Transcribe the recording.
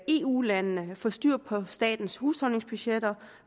eu landene får styr på staternes husholdningsbudgetter